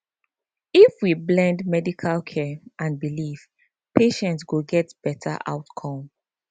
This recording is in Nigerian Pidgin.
if we blend medical care and belief patients go get better outcome